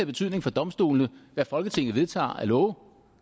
betydning for domstolene hvad folketinget vedtager af love